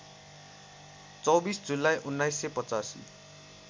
२४ जुलाई १९८५